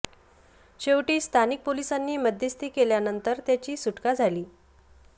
शेवटी स्थानिक पोलिसांनी मध्यस्थी केल्यानंतर त्याची सुटका झाली